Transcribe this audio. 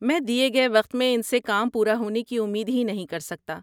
میں دیے گئے وقت میں ان سے کام پورا ہونے کی امید ہی نہیں کر سکتا۔